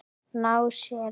Ná sér?